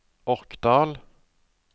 Orkdal